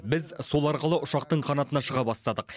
біз сол арқылы ұшақтың қанатына шыға бастадық